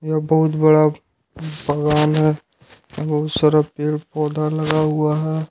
यह बहुत बड़ा बागान है बहुत सारा पेड़-पौधा लगा हुआ है।